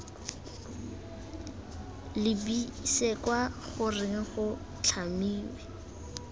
lebise kwa goreng go tlhamiwe